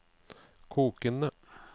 kokende